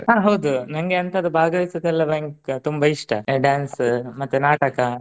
ಹ ಹೌದು ನಂಗೆ ಅಂಥದ್ದು ಭಾಗವಹಿಸೋದೆಲ್ಲ ಭಯ~ ತುಂಬಾ ಇಷ್ಟ dance ಮತ್ತೆ ನಾಟಕ.